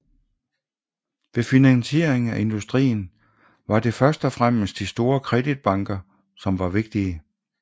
Ved finansieringen af industrien var det første og fremmest de store kreditbanker som var vigtige